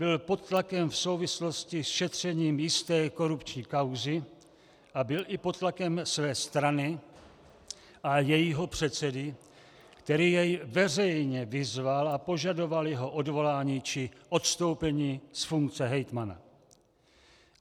Byl pod tlakem v souvislosti s šetřením jisté korupční kauzy a byl i pod tlakem své strany a jejího předsedy, který jej veřejně vyzval a požadoval jeho odvolání či odstoupení z funkce hejtmana.